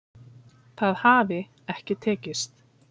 Það hafi ekki tekist